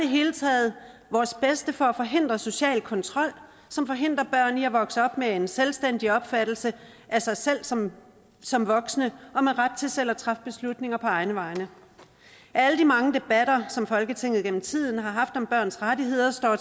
hele taget vores bedste for at forhindre social kontrol som forhindrer børn i at vokse op med en selvstændig opfattelse af sig selv som som voksne og med ret til selv at træffe beslutninger på egne vegne af alle de mange debatter som folketinget gennem tiden har haft om børns rettigheder står